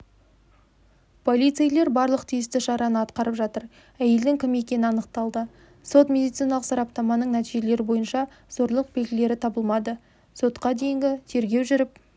полицейлер барлық тиісті шараны атқарып жатыр әйелдің кім екені анықталды сот-медициналық сараптаманың нәтижелері бойынша зорлық белгілері табылмады сотқа дейінгі тергеу жүріп